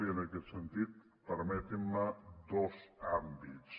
i en aquest sentit permetin me dos àmbits